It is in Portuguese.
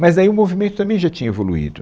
Mas aí o movimento também já tinha evoluído.